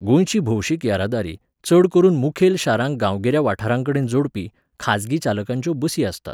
गोंयची भौशीक येरादारी, चड करून मुखेल शारांक गांवगिऱ्या वाठारांकडेन जोडपी, खाजगी चालकांच्यो बसी आसतात.